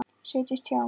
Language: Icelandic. Settist hjá